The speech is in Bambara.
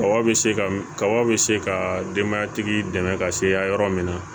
Kaba be se ka kaba bɛ se ka denbaya tigi dɛmɛ ka se hakɛ yɔrɔ min ma